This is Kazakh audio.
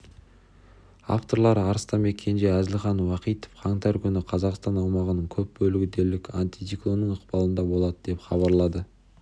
авторлары арыстанбек кенже әзілхан уахитов қаңтар күніқазақстан аумағының көп бөлігі дерлік антициклонның ықпалында болады деп хабарлады